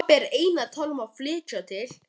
Pabbi er enn að tala um að flytja til